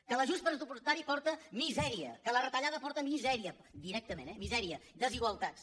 que l’ajust pressupostari porta misèria que la retallada porta misèria directament eh mi·sèria desigualtats